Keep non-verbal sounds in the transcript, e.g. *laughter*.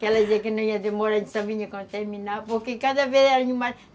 Que ela dizia que não ia demorar, a gente só vinha quando terminava, porque cada vez *unintelligible*